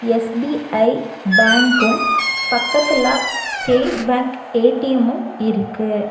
SBI பேங்க்கும் பக்கத்துல State Bank A T M இருக்கு.